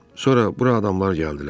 Sonra bura adamlar gəldilər.